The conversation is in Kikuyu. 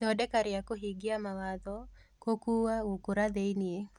Ithondeka rĩa kũhingia mawatho: Kukua (Gũkũra) thĩinĩ